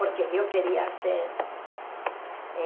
Porque eu queria ser... É...